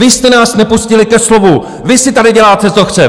Vy jste nás nepustili ke slovu, vy si tady děláte, co chcete!